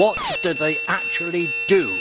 What do they actually do?